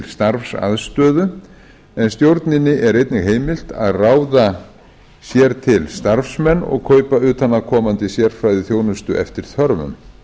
starfsaðstöðu en stjórninni er einnig heimilt að ráða sér starfsmenn og kaupa utanaðkomandi sérfræðiþjónustu eftir þörfum